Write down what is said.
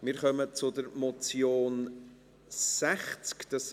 Wir kommen zur Motion unter Traktandum 60.